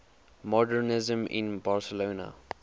modernisme in barcelona